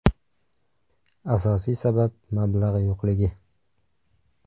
Asosiy sabab – mablag‘ yo‘qligi.